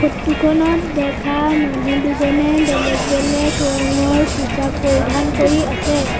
Photo খনত দেখা মানুহ দুজনে বেলেগ বেলেগ ৰঙৰ পোছাক পৰিধান কৰি আছে।